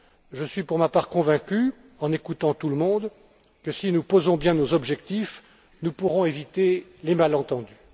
Je suis pour ma part convaincu, en écoutant tout le monde, que si nous posons bien nos objectifs, nous pourrons éviter les malentendus.